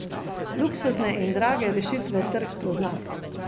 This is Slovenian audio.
Luksuzne in drage rešitve trg pozna.